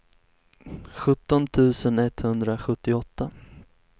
sjutton tusen etthundrasjuttioåtta